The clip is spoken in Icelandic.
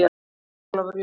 Sæll Ólafur Jón.